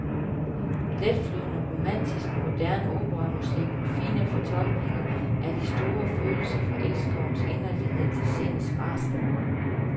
Letflydende, romantisk, moderne operamusik med fine fortolkninger af de store følelser fra elskovens inderlighed til sindets rasen.